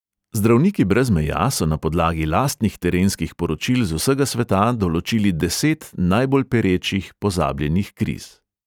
Zdravniki brez meja so na podlagi lastnih terenskih poročil z vsega sveta določili deset najbolj perečih pozabljenih kriz.